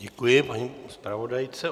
Děkuji paní zpravodajce.